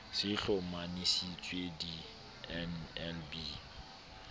se e hlomamisitse di nlb